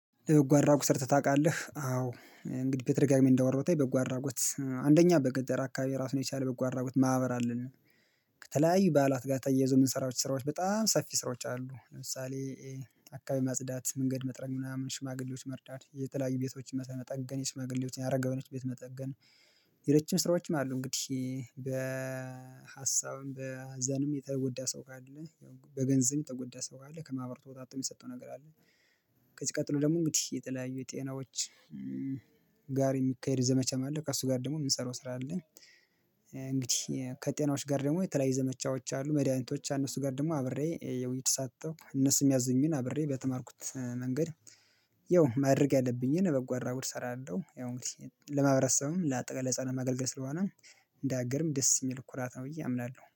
ለበጎ አድራጎት ሰርተህ ታውቃለህ አዎ እንግዲህ በተደጋጋሚ በጎ አድራጎት አንደኛ በገጠር አካባቢ ራሱን የቻለ በጎ አድራጎት ማህበር አለን። ከተለያዩ ባዓላት ጋር ተያይዞ የምንሰራው ስራዎች በጣም ሰፊ ስራዎች አሉ ለምሳሌ አካባቢ ማጽዳት መንገድ መጥረግ ምናምን ሽማግሌዎች መርዳት የተለያዩ ቤቶች መጠገን የሽማግሌዎችን የአረጋዉያንን ቤት መጠገን። ሌሎችም ስራዎችም አሉ እንግዲህ በሀሳብም በሀዘንም የተወጎዳ ሰው ካለ በገንዘብ የተጎዳ ሰው ካለ ከማህበሩ ተወጣቶ የሚሰጠው ነገር አለ። ከዚህ ቀጥሎ ደግሞ እንግዲህ የተለያዩ የጤናዎች ጋር የሚካሄድ ዘመቻም አለው ከእሱ ጋር ደግሞ የምንሰራው ስራ አለኝ። እንግዲህ ከጤናዎች ጋር ደግሞ የተለያዩ ዘመቻዎች አሉ መድኃኒቶች አነሱ ጋር ደግሞ አብሬ እየተሳተፍኩ እነሱም ያሚያዙኝን አብሬ በተማርኩት መንገድ። ያው ማድረግ ያለብኝን በጎ አድራጎት እሰራለሁ ያው እንግዲ ለማህበረሰብም ለአጠቃላይ ለህፃናት ማገልገል ስለሆነ እንዳገርም ደስ የሚል ኩራት ነው ብዬ አምናለሁ